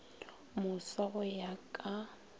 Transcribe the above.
moswa go ya ka o